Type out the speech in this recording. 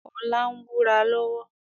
Ọlá ń búra lọ́wọ́